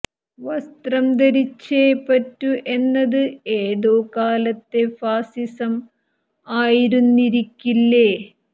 വസ്ത്രം ധരിച്ചേ പറ്റു എന്നത് ഏതോ കാലത്തെ ഫാസിസം ആയിരുന്നിരിക്കില്ലേ